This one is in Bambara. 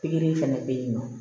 Pikiri fana bɛ yen nɔ